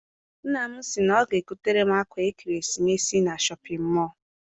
Nna m si na ọ ga egotere m akwa ekeresimesi na Shọpịn mọọ.